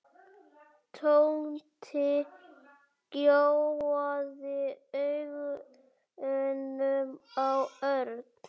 Tóti gjóaði augunum á Örn.